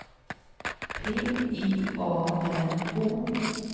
P I A N O